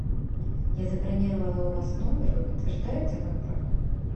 я забронировала у вас номер вы подтверждаете мою бронь